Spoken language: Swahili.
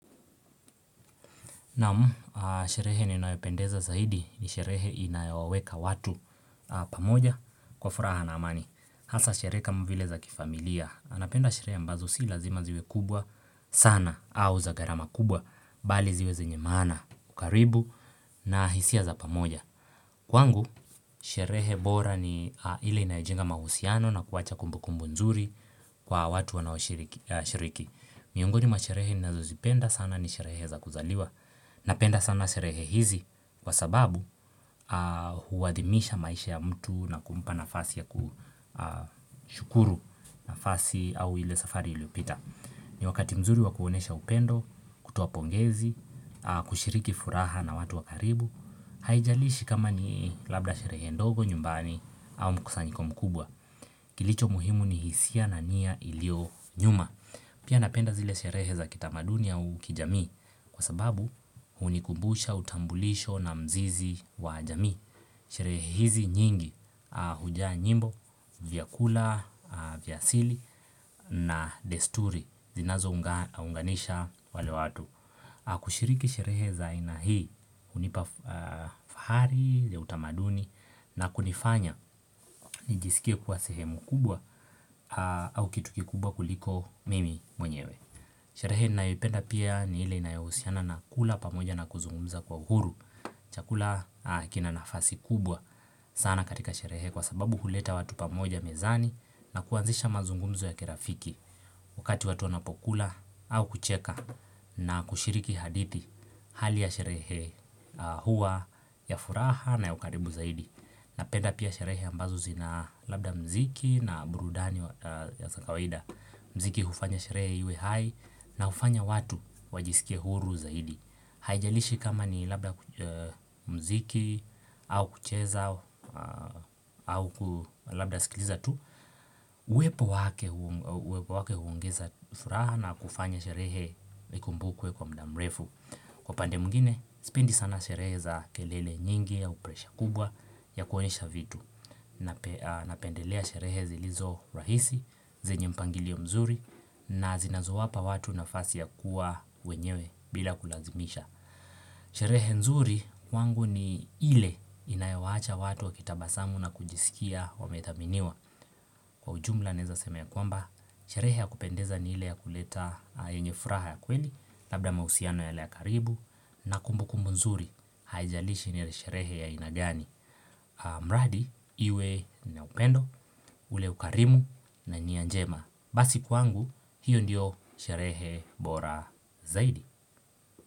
Naam, sherehe ninayopendeza zaidi ni sherehe inayowaweka watu pamoja kwa furaha na amani. Hasa sherehe kama vile za kifamilia. Napenda sherehe ambazo si lazima ziwe kubwa sana au za gharama kubwa bali ziwe zenye maana, ukaribu na hisia za pamoja. Kwangu, sherehe bora ni ile inayejenga mahusiano na kuwacha kumbukumbu nzuri kwa watu wanaoshiriki. Miongoni mwa sherehe ninazozipenda sana ni sherehe za kuzaliwa Napenda sana sherehe hizi kwa sababu huwadhimisha maisha ya mtu na kumpa nafasi ya kushukuru nafasi au ile safari iliopita ni wakati mzuri wa kuonesha upendo, kutoa pongezi, kushiriki furaha na watu wa karibu Haijalishi kama ni labda sherehe ndogo nyumbani au mkusanyiko mkubwa Kilicho muhimu ni hisia na niya ilio nyuma Pia napenda zile sherehe za kitamaduni au kijamii kwa sababu hunikumbusha utambulisho na mzizi wa jamii. Sherehe hizi nyingi hujaa nyimbo, vyakula, vya asili na desturi zinazounganisha wale watu. Kushiriki sherehe za aina hii hunipa fahari ya utamaduni na kunifanya nijisikie kuwa sehemu kubwa au kitu kikubwa kuliko mimi mwenyewe Sherehe ninayopenda pia ni ile inayohusiana na kula pamoja na kuzungumza kwa huru Chakula kina nafasi kubwa sana katika sherehe kwa sababu huleta watu pamoja mezani na kuanzisha mazungumzo ya kirafiki wakati watu wanapokula au kucheka na kushiriki hadithi hali ya sherehe hua ya furaha na ya ukaribu zaidi napenda pia sherehe ambazo zina labda mziki na burudani zakawaida mziki hufanya sherehe iwe hai na hufanya watu wajiskie huru zaidi haijalishi kama ni labda mziki au kucheza au labda sikiliza tu Uwepo wake huongeza furaha na kufanya sherehe ikumbukwe kwa mda mrefu Kwa pande mwingine, sipendi sana sherehe za kelele nyingi au presha kubwa ya kuonyesha vitu Napendelea sherehe zilizo rahisi, zenye mpangilio mzuri na zinazowapa watu nafasi ya kuwa wenyewe bila kulazimisha Sherehe nzuri kwangu ni ile inayowacha watu wakitabasamu na kujisikia wamethaminiwa Kwa ujumla naeza sema ya kwamba, sherehe ya kupendeza ni hile ya kuleta yenye furaha ya kweli, labda mausiano yale ya karibu, na kumbukumbu nzuri haijalishi ni hile sherehe ya aina gani. Mradi, iwe na upendo, ule ukarimu na nia njema. Basi kwangu, hiyo ndiyo sherehe bora zaidi.